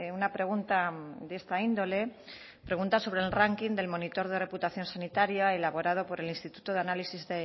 una pregunta de esta índole pregunta sobre el ranking del monitor de reputación sanitaria elaborado por el instituto de análisis